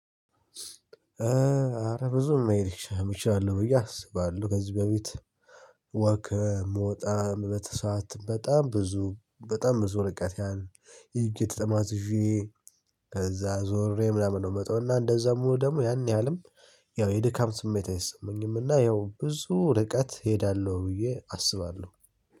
ኧረ ብዙ መሄድ እችላለሁ ብዬ አስባለሁ ከዚህ በፊት ወከ ምወጣበት ሰዓት በጣም ብዙ በጣም ብዙ ርቀት ያህል ሄጄ ተጠማዝዤ ዞሬ ምናምን ነው ምመጣው እና እንደዛም ሆኖ ደግሞ ያን ያህልም ያው የድካም ስሜት አይሰማኝም። እና ያው ብዙ ርቀት እሄዳለሁ ብዬ አስባለሁ